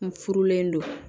N furulen don